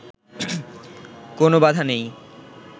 কোন বাধা নেই